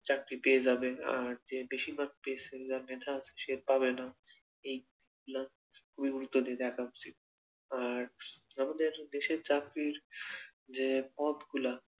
চাকরি পেয়ে যাবে আর যে বেশি mark পেয়েছে যার মেধা আছে সে পাবেনা এই গুলা খুবই গুরুত্ব দিয়ে দেখা উচিত আর আমাদের দেশের চাকরির যে পথগুলো